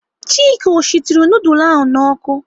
Chika ọ shituru nudul ahụ n'ọkụ?